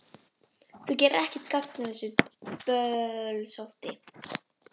Þú gerir ekkert gagn með þessu bölsóti,